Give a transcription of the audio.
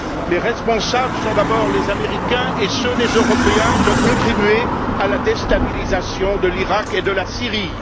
Les responsables sont d'abord les Américains et ceux des Européens qui ont contribué à la déstabilisation de l'Iraq et de la Syrie